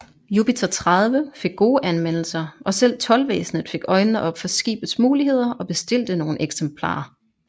Jupiter 30 fik gode anmeldelser og selv Toldvæsenet fik øjnene op for skibets muligheder og bestilte nogle eksemplarer